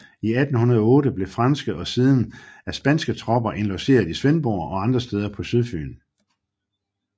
I 1808 blev franske og siden af spanske tropper indlogeret i Svendborg og andre steder på Sydfyn